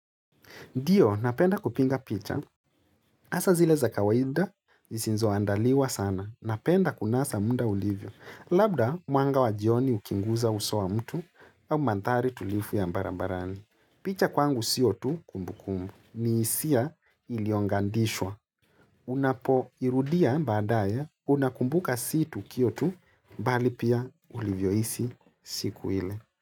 Ndiyo, napenda kupinga picha. Hasa zile za kawaida, zisizo andaliwa sana. Napenda kunasa munlda ulivyo. Labda, mwanga wa jioni ukiguza uso wa mtu, au mandhari tulivu ya barabarani. Picha kwangu sio tu kumbu kumbu. Ni hisia iliyogandishwa. Unapoirudia baadaye, unakumbuka si tukio tu, bali pia ulivyohisi siku ile.